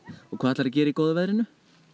og hvað ætlarðu að gera í góða veðrinu